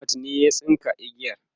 Ahmad ne ya tsinka igiyar